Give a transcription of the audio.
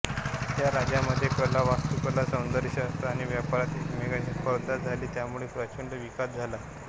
या राज्यांमध्ये कला वास्तुकला सौंदर्यशास्त्र आणि व्यापारात एकमेकांशी स्पर्धा झाली त्यामुळे प्रचंड विकास झाला